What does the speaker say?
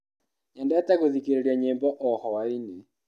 Nyendete gũthikĩrĩria nyĩmbo o hwainĩ.